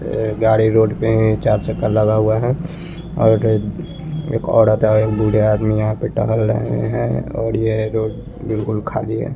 ए गाड़ी रोड पे है चार चक्का लगा हुआ है और एक औरत है एक बुढ़े आदमी यहाँ पे टहल रहे है और ये रोड बिलकुल खली है।